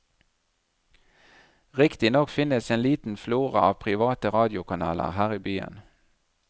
Riktignok finnes en liten flora av private radiokanaler her i byen.